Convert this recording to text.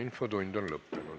Infotund on lõppenud.